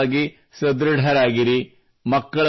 ದೈಹಿಕವಾಗಿ ಸದೃಡರಾಗಿರಿ